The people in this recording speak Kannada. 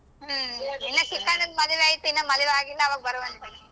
ಹ್ಮ್ ಇನ್ನ ಚಿಕ್ಕಣ್ಣನ ಮದ್ವಿ ಐತೆ ಇನ್ನಾ ಮದ್ವಿ ಆಗಿಲ್ಲ ಅವಾಗ ಬರುವಂತರಿ ತಗೋ.